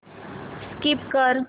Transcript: skip कर